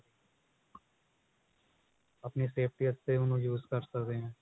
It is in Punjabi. ਆਪਣੀ safety ਵਾਸਤੇ ਉਹਨੂੰ use ਕਰ ਸਕੇ ਹਾਂ